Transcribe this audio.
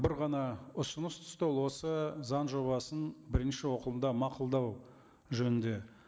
бір ғана ұсыныс түсті ол осы заң жобасын бірінші оқылымда мақұлдау жөнінде